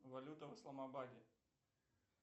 валюта в исламабаде